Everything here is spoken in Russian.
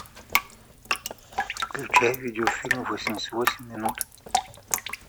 включай видеофильм восемьдесят восемь минут